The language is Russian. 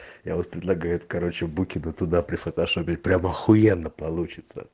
я вот предлагает короче букина туда прифотошопить прям ахуенно получится